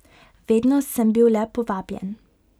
Vedno sem bil le povabljen.